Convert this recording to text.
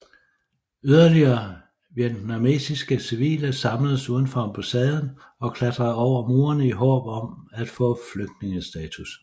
Yderligere vietnamesiske civile samledes uden for ambassaden og klatrede over murene i håb om at få flygtningestatus